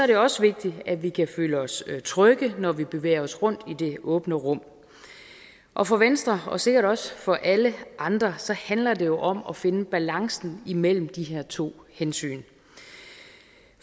det også vigtigt at vi kan føle os trygge når vi bevæger os rundt i det åbne rum og for venstre og sikkert også for alle andre handler det jo om at finde balancen imellem de her to hensyn